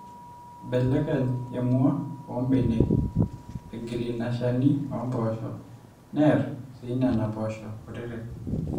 eibelekeny emua oombenek, egil ina shani oompoosho, neer sii nena poosho kutitik